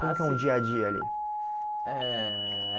Ah sim Como que é um dia a dia ali? Eh